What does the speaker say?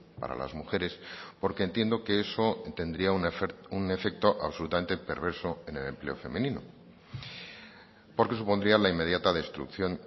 para las mujeres porque entiendo que eso tendría un efecto absolutamente perverso en el empleo femenino porque supondría la inmediata destrucción